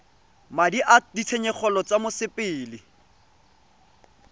madi a ditshenyegelo tsa mosepele